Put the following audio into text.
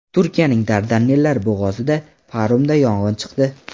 Turkiyaning Dardanellar bo‘g‘ozida paromda yong‘in chiqdi.